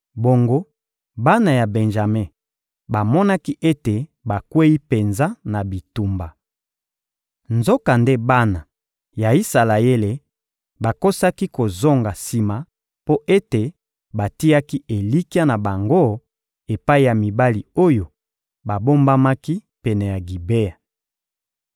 Bongo bana ya Benjame bamonaki ete bakweyi penza na bitumba. Nzokande bana ya Isalaele bakosaki kozonga sima mpo ete batiaki elikya na bango epai ya mibali oyo babombamaki pene ya Gibea.